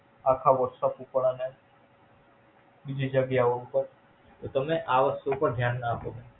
આખા Whattsap ઉપર અને બીજી જગ્ગ્યાઓ ઉપર. તો તમે આ વસ્તુઓ પાર ધ્યાન ના આપો.